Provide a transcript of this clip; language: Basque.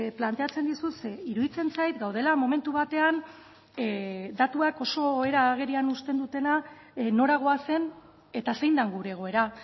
planteatzen dizut ze iruditzen zait gaudela momentu batean datuak oso era agerian uzten dutena nora goazen eta zein den gure egoera